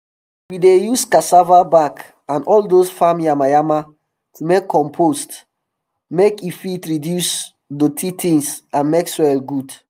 we dey use cassava back and all dose farm yama yama to make compost make e fit reduce doti tins and make soil good